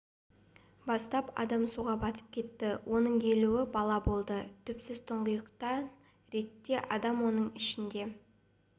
бастап адам суға батып кетті оның елуі бала болды түпсіз тұңғиықтан ретте адам оның ішінде